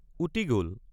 উটি গল।